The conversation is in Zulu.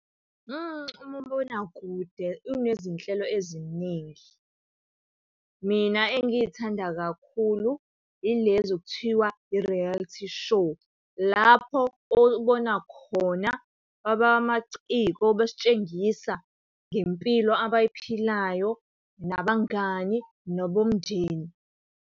Umabonakude unezinhlelo eziningi. Mina engiy'thanda kakhulu yilezo ekuthiwa i-reality show, lapho obona khona abamaciko besitshengisa ngempilo abayiphilayo nabangani nabomndeni.